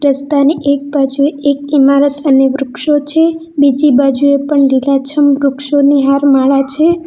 રસ્તાની એક બાજુએ એક ઈમારત અને વૃક્ષો છે બીજી બાજુએ પણ લીલાછમ વૃક્ષોની હાર માળા છે.